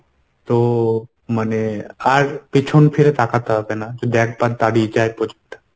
তো মানে আর পেছন ফিরে তাকাতে হবে না যদি একবার দাড়িয়ে যায় project টা।